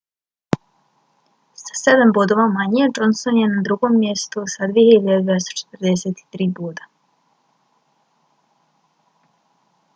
sa sedam bodova manje johnson je na drugom mjestu s 2.243 boda